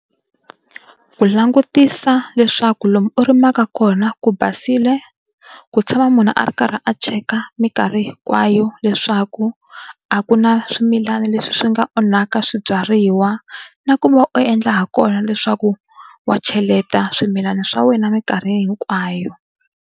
Hi langutisa leswaku lomu u rimaka kona ku basile ku tshama munhu a ri karhi a cheka minkarhi hinkwayo leswaku a ku na swimilana leswi swi nga onhaka swibyariwa na ku va u endla ha kona leswaku wa cheleta swimilana swa wena minkarhi hinkwayo.